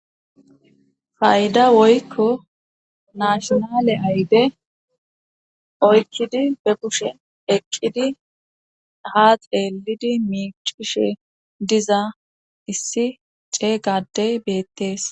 fayda woykko nashonale ayde oykidi be kushe eqqidi ha xeelidi miicishe diza issi ceeygadey beettees